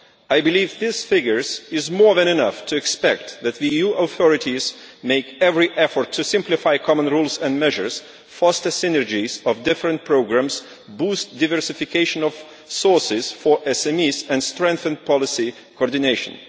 I believe these figures are more than enough to expect that the EU authorities make every effort to simplify common rules and measures, foster synergies of different programmes, boost diversification of sources for SMEs and strengthen policy coordination.